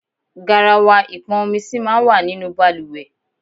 Garawa ipọn omi sì máa ń wà nínú bàlùwẹ̀.